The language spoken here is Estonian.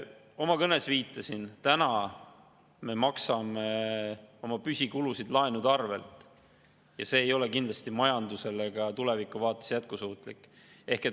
Oma kõnes viitasin, et täna me maksame püsikulusid laenude arvelt ja see ei ole kindlasti majandusele ka tulevikuvaates jätkusuutlik.